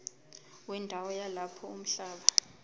wendawo yalapho umhlaba